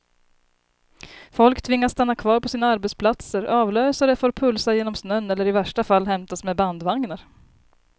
Folk tvingas stanna kvar på sina arbetsplatser, avlösare får pulsa genom snön eller i värsta fall hämtas med bandvagnar.